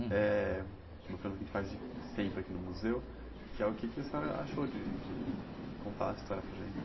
Eh, uma pergunta que a gente faz sempre aqui no museu, que é o que a senhora achou, de de contar a história para a gente?